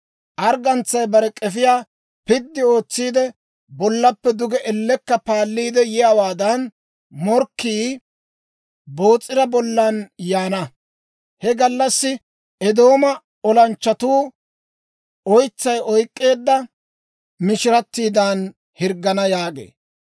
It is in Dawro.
Arggantsay bare k'efiyaa piddi ootsiide, bollappe duge ellekka paalliide yiyaawaadan, morkkii Boos'ira bollan yaana. He gallassi Eedooma olanchchatuu oytsay oyk'k'eedda mishirattiidan hirggana» yaagee.